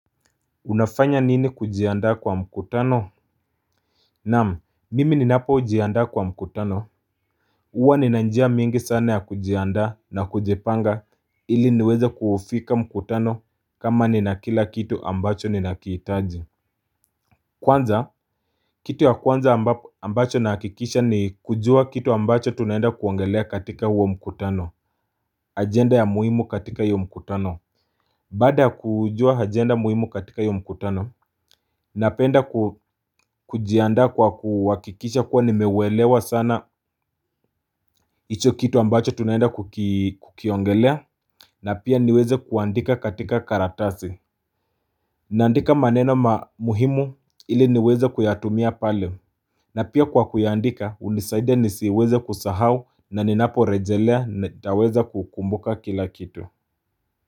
Unafanya nini kujiandaa kwa mkutano Naam, mimi ni napojianda kwa mkutano Uwa ninanjia mingi sana ya kujianda na kujipanga ili niweza kuofika mkutano kama ni na kila kitu ambacho ni nakiitaji Kwanza, kitu wa kwanza ambacho na hakikisha ni kujua kitu ambacho tunaenda kuangelea katika huwa mkutano ajenda ya muhimu katika hiyo mkutano Bada kujua ajenda muhimu katika hiyo mkutano Napenda kujianda kwa kuwakikisha kuwa nimewelewa sana Icho kitu ambacho tunaenda kukiongelea na pia niweze kuandika katika karatasi naandika maneno muhimu ili niweze kuyatumia pale na pia kwa kuandika unisaide nisiweze kusahau na ninapo rejelea nitaweza kukumbuka kila kitu.